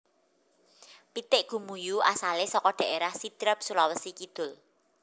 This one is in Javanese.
Pitik Gumuyu asalé saka dhaérah Sidrap Sulawesi Kidul